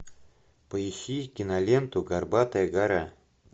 поищи киноленту горбатая гора